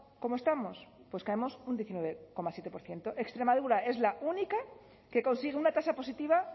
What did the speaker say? cómo estamos pues caemos un diecinueve coma siete por ciento extremadura es la única que consigue una tasa positiva